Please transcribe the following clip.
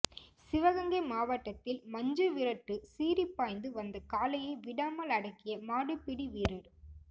சிவகங்கை மாவட்டத்தில் மஞ்சு விரட்டு சீறிப்பாய்ந்து வந்த காளையை விடாமல் அடக்கிய மாடுபிடி வீரர்